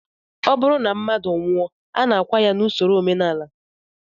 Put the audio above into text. Ọ bụrụ na mmadụ nwụọ, a na-akwa ya n'usoro omenala